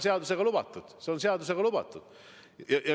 See on seadusega lubatud.